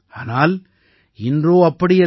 ஆனால் இன்றோ அப்படி அல்ல